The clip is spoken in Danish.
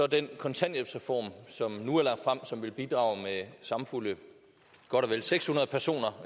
den kontanthjælpsreform som nu er lagt frem som vil bidrage med samfulde godt og vel seks hundrede personer